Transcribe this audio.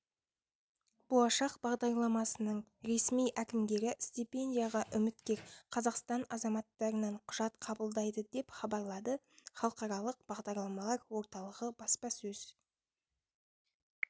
болашақ бағдарламасының ресми әкімгері стипендияға үміткер қазақстан азаматтарынан құжат қабылдайды деп хабарлады халықаралық бағдарламалар орталығы баспасөз